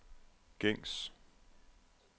gængs